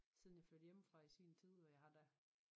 Siden jeg flyttede hjemmefra i sin tid og jeg har da